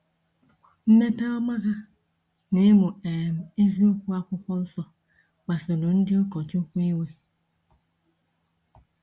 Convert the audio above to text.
Mmepe ọma ha n’ịmụ um eziokwu Akwụkwọ Nsọ kpasuru ndị ụkọchukwu iwe.